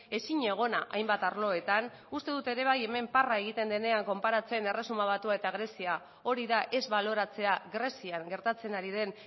ezinegona hainbat arloetan uste dut ere bai hemen parra egiten denean konparatzen erresuma batua eta grezia hori da ez baloratzea grezian gertatzen ari den